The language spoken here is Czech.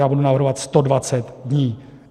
Já budu navrhovat 120 dní.